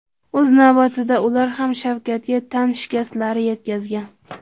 O‘z navbatida ular ham Shavkatga tan shikastlari yetkazgan.